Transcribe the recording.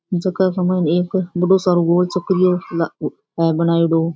झक के माइन एक बड़ो सारा गोल चक्रियो है बनेयडो।